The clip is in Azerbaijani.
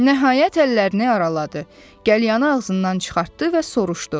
Nəhayət əllərini araladı, qəlyanını ağzından çıxartdı və soruşdu.